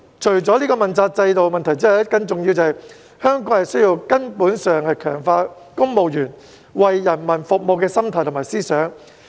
除了問責制的問題之外，更重要的是，香港需要從根本強化公務員為人民服務的心態和思想。